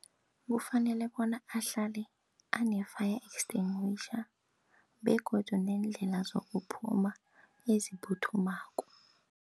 Kufanele bona ahlale ane-fire extinguisher begodu neendlela zokuphuma eziphuthumako.